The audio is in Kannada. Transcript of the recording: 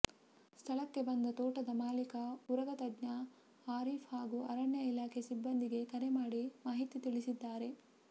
ಸ್ಥಳಕ್ಕೆ ಬಂದ ತೋಟದ ಮಾಲೀಕ ಉರಗ ತಜ್ಞ ಆರೀಫ್ ಹಾಗೂ ಅರಣ್ಯ ಇಲಾಖೆ ಸಿಬ್ಬಂದಿಗೆ ಕರೆ ಮಾಡಿ ಮಾಹಿತಿ ತಿಳಿಸಿದ್ದಾರೆ